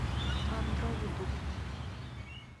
андро ютуб